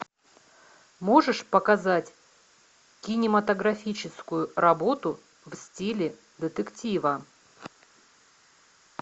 можешь показать кинематографическую работу в стиле детектива